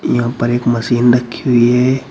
यहां ऊपर एक मशीन रखी हुई है।